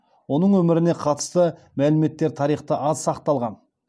оның өміріне қатысты мәліметтер тарихта аз сақталған